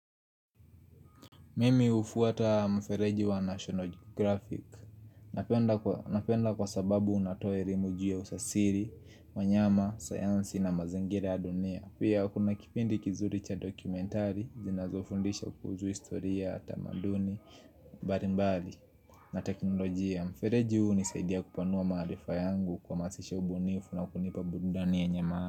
Mimi hufuata mfereji wa National Geographic Napenda kwa sababu unatoe elimu juu ya usasiri, manyama, sayansi na mazingira ya dunia Pia kuna kipindi kizuri cha dokumentari zinazofundisha kuhusu historia tamaduni mbarimbali na teknoloji ya mfereji hunisaidia kupanua maarifa yangu kuhamasisha ubunifu na kunipa burudani yenye maana.